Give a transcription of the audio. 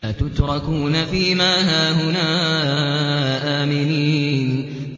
أَتُتْرَكُونَ فِي مَا هَاهُنَا آمِنِينَ